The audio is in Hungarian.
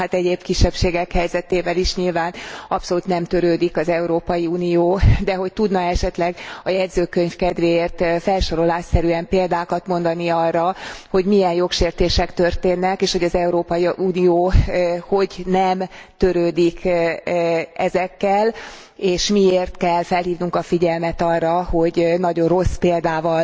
egyéb kisebbségek helyzetével is nyilván abszolút nem törődik az Európai Unió, de tudna e esetleg a jegyzőkönyv kedvéért felsorolásszerűen példákat mondani arra, hogy milyen jogsértések történnek, és hogy az Európai Unió hogy nem törődik ezekkel és miért kell fölhívnunk a figyelmet arra, hogy nagyon rossz példával